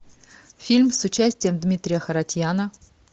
фильм с участием дмитрия харатьяна